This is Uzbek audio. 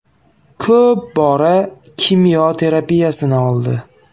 Ko‘p bora kimyo terapiyasini oldi.